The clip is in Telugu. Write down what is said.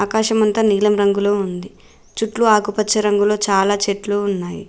కాశమంతా నీలం రంగులో ఉంది చుట్టూ ఆకుపచ్చ రంగులో చాలా చెట్లు.